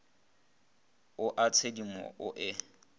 o a tshedimo o e